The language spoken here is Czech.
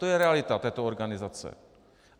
To je realita této organizace.